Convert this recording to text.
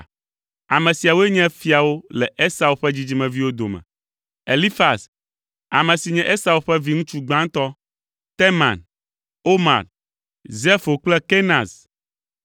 Ame siawoe nye fiawo le Esau ƒe dzidzimeviwo dome. Elifaz, ame si nye Esau ƒe viŋutsu gbãtɔ, Teman, Omar, Zefo kple Kenaz,